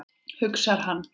hugsar hann.